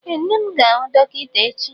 Ee, nne m ga-ahụ dọkịta echi.